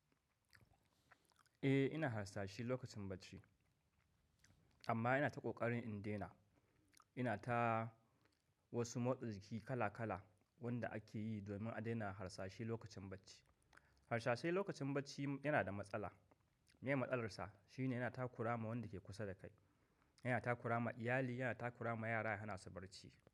Eh ina harsashe lokacin bacci amma ina ta ƙoƙarin in daina. Ina ta wasu motsa jiki kala kala wanda ake yi domin a daina harsashi lokacin bacci. Harsashai lokacin bacci yana da matsala. Me ye matsalar sa shine yana takura ma wanda ke kusa da kai, yana takura ma iyali, yana takura ma yara yana hana su bacci.